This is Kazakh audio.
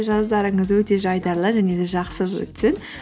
жаздарыңыз өте жайдарлы және де жақсы өтсін